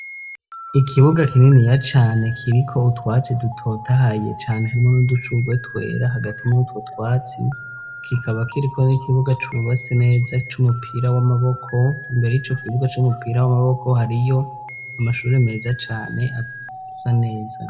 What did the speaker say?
Ikibuga kininiya cane kiriko utwatsi dutotahaye cane harimwo n'udushugwe twera hagati yutwo twatsi kikaba kiriko n'ikibuga cubatse neza c'umupira w'amaboko mbere y'ico kibuga c'umupira w'amaboko hariyo amashuri meza cane asa neza.